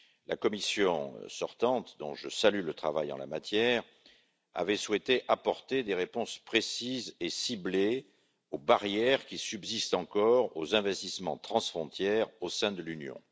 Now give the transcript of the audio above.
La Commission sortante, dont je salue le travail en la matière, avait souhaité apporter des réponses précises et ciblées aux barrières qui subsistent encore pour les investissements transfrontières au sein de l'Union.